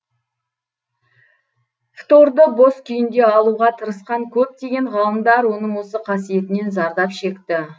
фторды бос күйінде алуға тырысқан көптеген ғалымдар оның осы қасиетінен зардап шекті